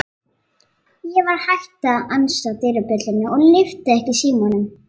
Ég var hætt að ansa dyrabjöllunni og lyfti ekki símanum.